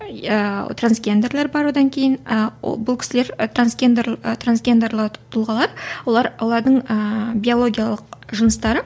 иә трансгендерлер бар одан кейін ыыы бұл кісілер трансгендер трансгендерлік тұлғалар олар олардың ыыы биологиялық жыныстары